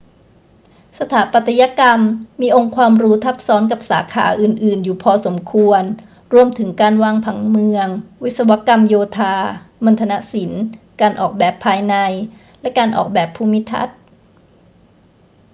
สถาปัตยกรรมมีองค์ความรู้ทับซ้อนกับสาขาอื่น ๆ อยู่พอสมควร รวมถึงการวางผังเมือง วิศวกรรมโยธา มัณฑนศิลป์ การออกแบบภายใน และการออกแบบภูมิทัศน์